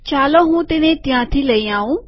ચાલો હું તેને ત્યાંથી લઇ આઉં